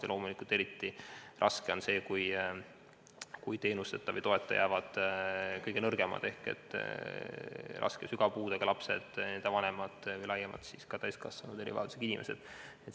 Ja loomulikult on eriti raske see, kui teenuse või toeta jäävad kõige nõrgemad ehk raske ja sügava puudega lapsed ja nende vanemad või erivajadusega inimesed laiemalt.